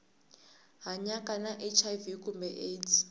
hanyaka na hiv kumbe aids